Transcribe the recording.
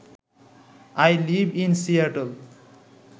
I live in Seattle